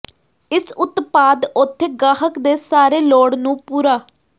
ਇਸ ਉਤਪਾਦ ਉੱਥੇ ਗਾਹਕ ਦੇ ਸਾਰੇ ਲੋੜ ਨੂੰ ਪੂਰਾ